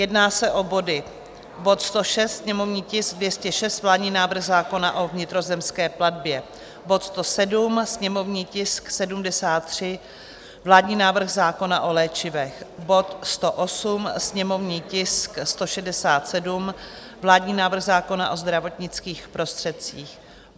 Jedná se o body: bod 106, sněmovní tisk 206, vládní návrh zákona o vnitrozemské plavbě; bod 107, sněmovní tisk 73, vládní návrh zákona o léčivech; bod 108, sněmovní tisk 167, vládní návrh zákona o zdravotnických prostředcích;